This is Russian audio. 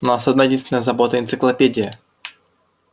и у нас одна-единственная забота энциклопедия